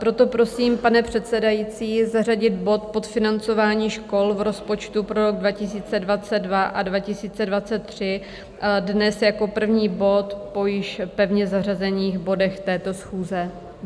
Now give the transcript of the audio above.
Proto prosím, pane předsedající, zařadit bod Podfinancování škol v rozpočtu pro rok 2022 a 2023 dnes jako první bod po již pevně zařazených bodech této schůze.